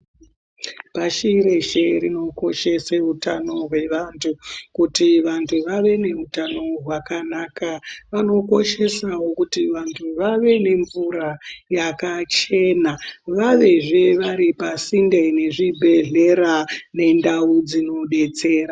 Pashi reshe rino koshese utano hwe vantu kuti vantu vave ne utano hwakanaka vano koshesawo kuti vantu vave ne mvura yaka chena vavezve vari pasinde ne zvibhedhlera ne ndau dzino detsera.